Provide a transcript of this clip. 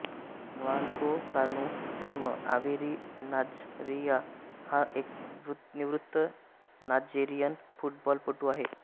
Nwankwo Kanu जन्म Owerri Nigeria हा एक निवृत्त नायजेरियन फुटबॉलपटू आहे